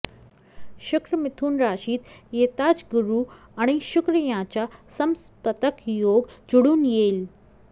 शुक्र मिथुन राशीत येताच गुरु आणि शुक्र यांचा समसप्तक योग जुळून येईल